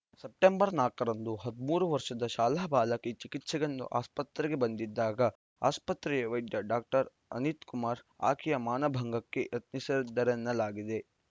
September ನಾಲ್ಕರಂದು ಹದಿಮೂರು ವರ್ಷದ ಶಾಲಾ ಬಾಲಕಿ ಚಿಕಿತ್ಸೆಗೆಂದು ಆಸ್ಪತ್ರೆಗೆ ಬಂದಿದ್ದಾಗ ಆಸ್ಪತ್ರೆಯ ವೈದ್ಯ ಡಾಕ್ಟರ್ ಅನಿತ್‌ ಕುಮಾರ್‌ ಆಕೆಯ ಮಾನಭಂಗಕ್ಕೆ ಯತ್ನಿಸಿದ್ದರೆನ್ನಲಾಗಿದೆ